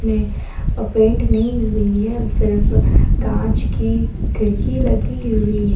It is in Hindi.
पेंट नहीं हुई है सिर्फ कांच की खिड़की लगी हुई है।